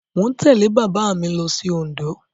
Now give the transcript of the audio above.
Mo tẹ̀lé bàbá mi lọ sí Òǹdó.